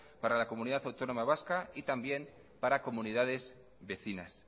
para la comunidad autónoma vasca y también para comunidades vecinas